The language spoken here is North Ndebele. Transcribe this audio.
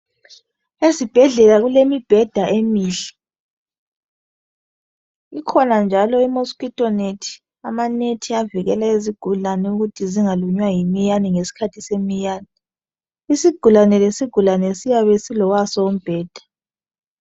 Ezibhedlela kulemibheda emihle . Ikhona njalo i-mosquito net. Amanethi avikele izigulani ukuthi zingalunywa yimiyane ngesikhathi semiyanee. Isigulane lesigulane siyabe silowaso umbheda.